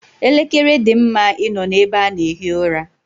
Elekere dị mma ị nọ n'ebe a na-ehi ụra.